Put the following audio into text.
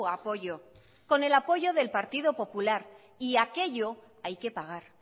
apoyo con el apoyo del partido popular y aquello hay que pagar